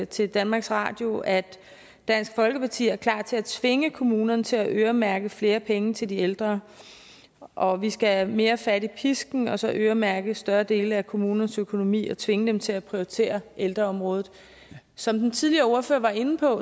til danmarks radio at dansk folkeparti er klar til at tvinge kommunerne til at øremærke flere penge til de ældre og at vi skal have mere fat i pisken og så øremærke større dele af kommunernes økonomi og tvinge dem til at prioritere ældreområdet som den tidligere ordfører var inde på